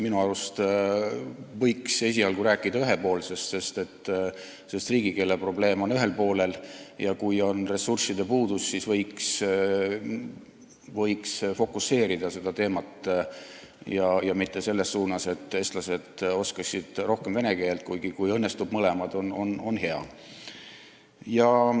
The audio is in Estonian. Minu arust võiks esialgu rääkida ühepoolsest, sest riigikeeleprobleem on ühel poolel ja kui on ressursside puudus, siis võiks seda teemat fokuseerida ja mitte selles suunas, et eestlased oskaksid rohkem vene keelt, kuigi, kui õnnestuvad mõlemad, on hea.